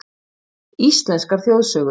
Íslenskar þjóðsögur.